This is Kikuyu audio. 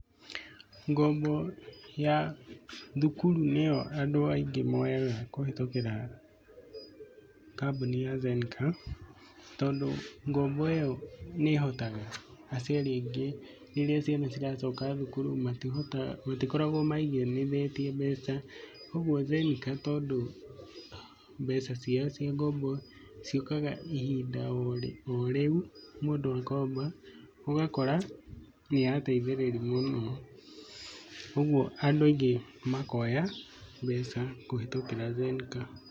Ngombo ya thukuru nĩyo andũ aingĩ moyaga kũhetũkĩra kambũni ya Zenka tondũ ngombo ĩyo nĩ ĩhotaga aciari aingĩ rĩrĩa ciana ciao iracoka thukuru matikoragwo maigithĩtie mbeca. ũguo Zenka tondũ mbeca ciao cia ngombo ciũkaga oo ihinda o rĩu, Mũndũ akomba, ũgakora nĩyateithĩrĩria, ũguo andũ aingĩ makoya mbeca kũhetũkĩra Zenka.